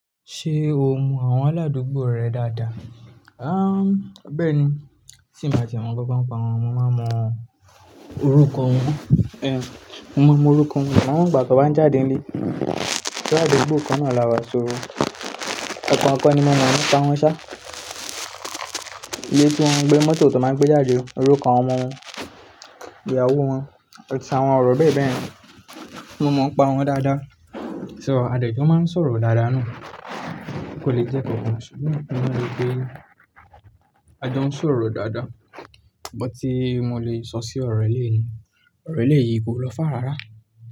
Ṣé o mọ àwọn aládùúgbò rẹ dáadáa? A, bẹ́ẹ̀ ni, sì máa ti mọ gbogbo ńǹkan wọn, mo máa mọ orúkọ wọn. Ẹ̀, mo mọ orúkọ wọn, àwọn ìgbà kí wọ́n jáde nílé, aládùúgbò kan náà lawà so o kan kan ní mo mo nipa wọn ṣá. Ilé tí wọ́n ń gbé mọ́tò tó máa ń gbé jáde, orúkọ àwọn ọmọ wọn, ìyàwó wọn, tàbí àwọn ọ̀rọ̀ bẹ́ẹ̀ bẹ́ẹ̀ lọ, mo mọ̀ ọ́n pa wọ́n dáadáa. So a jẹ́ kí wọ́n máa ń sọ̀rọ̀ dáadáa náà kò le jẹ́ kankan ṣùgbọ́n mo mọ̀ pé a jọ ń sọ̀rọ̀ dáadáa. Bó ti mo lè sọ sí ọ̀ro yii ni, ọ̀ro rẹ yìí kò lọ́ fá rárá.